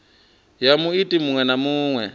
ya muiti muṅwe na muṅwe